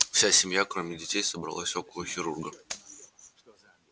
вся семья кроме детей собралась около хирурга